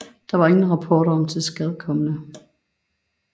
Der var ingen rapporter om tilskadekomne